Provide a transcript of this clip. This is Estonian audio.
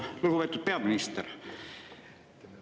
Lugupeetud peaminister!